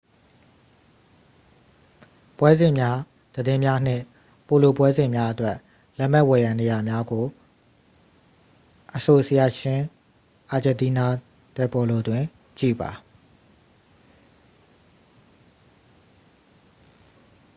ပွဲစဉ်များသတင်းများနှင့် ပိုလိုပွဲစဉ်များအတွက် လက်မှတ်ဝယ်ရန်နေရာများကို asociacion argentina de polo တွင် ကြည့်ပါ